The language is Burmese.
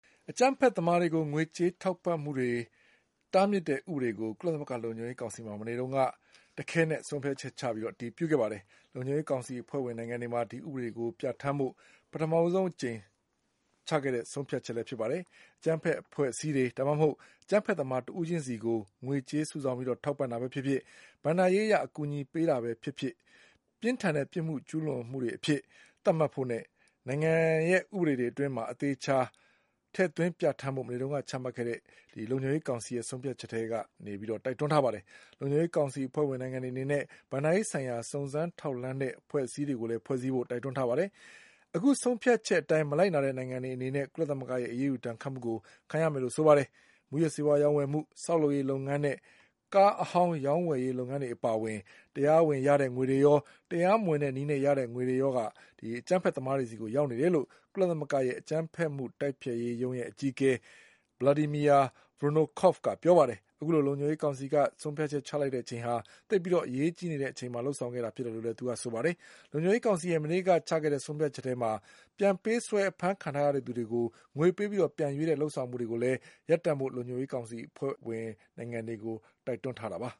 အကြမ်းဖက်သမားတွေကို ငွေကြေးထောက်ပံ့မှုကို တားမြစ်တဲ့ဥပဒေတွေကို ကုလသမဂ္ဂ လုံခြုံရေးကောင်စီမှာ မနေ့တုန်း က တခဲနက်ဆုံးဖြတ်ချက်ချအတည်ပြုခဲ့ပါတယ်။ လုံခြုံရေးကောင်စီအဖွဲ့ဝင်နိုင်ငံတွေမှာ ဒီဥပဒေတွေကိုပြဌာန်းဖို့ ပထမဦးဆုံးအကြိမ် ချခဲ့တဲ့ ဆုံးဖြတ်လည်းဖြစ်ပါတယ်။ အကြမ်းဖက်အဖွဲ့အစည်းတွေ ဒါမှမဟုတ် အကြမ်းဖက်သမားတဦးချင်းစီကို ငွေကြေးစု ဆောင်းပြီးထောက်ပံ့တာပဲဖြစ်ဖြစ် ၊ ဘဏ္ဍာရေးအကူအညီပေးတာပဲဖြစ်ဖြစ် ပြင်းထန်တဲ့ပြစ်မှုကျူးလွန်မှုတွေအဖြစ် သတ်မှတ်ဖို့နဲ့ နိုင်ငံရဲ့ ဥပဒေတွေအတွင်း သေချာပြဌာန်းဖို့ မနေ့ကချမှတ်ခဲ့တဲ့ လုံခြုံရေးကောင်စီရဲ့ဆုံးဖြတ်ချက်က တိုက်တွန်းထားပါတယ်။ လုံခြုံရေးကောင်စီအဖွဲ့ဝင်နိုင်ငံတွေအနေနဲ့ ဘဏ္ဍာရေးဆိုင်ရာ စုံစမ်းထောက်လှမ်းတဲ့ အဖွဲ့ အစည်းတွေကိုလည်း ဖွဲ့စည်းဖို့တိုက်တွန်းထားပါတယ်။ အခုဆုံးဖြတ်ချက်အတိုင်း မလိုက်နာတဲ့နိုင်ငံတွေအနေနဲ့ ကုလသမဂ္ဂရဲ့ အရေးယူဒဏ်ခတ်တာကို ခံရမယ်လို့ဆိုပါတယ်။ မူးယစ်ဆေးဝါးရောင်းဝယ်မှု၊ ဆောက်လုပ်ရေးလုပ်ငန်းနဲ့ ကားအဟောင်းရောင်းဝယ်ရေး လုပ်ငန်းတွေအပါအဝင် တရားဝင်ရတဲ့ငွေတွေရော တရားမဝင်တဲ့ နည်းနဲ့ရတဲ့ငွေတွေရော အကြမ်းဖက်သမားတွေဆီကိုရောက်နေတယ်လို့ ကုလသမဂ္ဂရဲ့ အကြမ်းဖက်မှုတိုက်ဖျက်ရေးရုံးရဲ့ အကြီးအကဲ Vladimir Voronkov ကပြောပါတယ်။ အခုလိုလုံခြုံရေးကောင်စီက ဆုံးဖြတ်ချက်ချလိုက်တဲ့အချိန်ဟာ သိပ်ပြီးအရေးကြီးနေတဲ့ အချိန်မှာလုပ်ဆောင်ခဲ့တာ ဖြစ်တယ်လို့လည်းဆိုပါတယ်။ လုံခြုံရေးကောင်စီရဲ့ မနေ့က ချခဲ့တဲ့ ဆုံးဖြတ်ချက်ထဲမှာ ပြန်ပေးဆွဲအဖမ်း ခံထားရတဲ့သူတွေကို ငွေပေးပြီး ပြန်ရွေးတဲ့လုပ်ဆောင်မှုတွေကိုလည်း ရပ်တန့်ဖို့လုံခြုံရေးကောင်စီအဖွဲ့ဝင်နိုင်ငံတွေကိုတိုက် တွန်းထားပါ